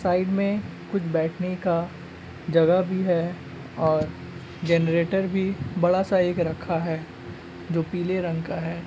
Side में कुछ बैठने का जगह भी है और जेनेरेटर भी बड़ा सा एक रखा है जो पीले रंग का है।